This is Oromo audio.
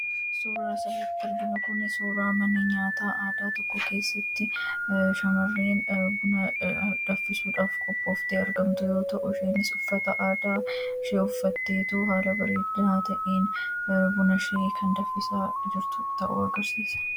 Suuraa asirratti arginu kuni suuraa mana nyaataa aadaa tokko keessatti shamarreen buna danfisuudhaaf qophooftee argamtu yoo ta'u, isheenis uffata aadaa ishee uffatteetu haala bareedaa ta'een bunashee kan danfisaa jirtu ta'uu agarsiisa.